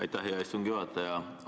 Aitäh, hea istungi juhataja!